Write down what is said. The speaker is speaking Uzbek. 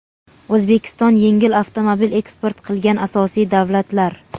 O‘zbekiston yengil avtomobil eksport qilgan asosiy davlatlar:.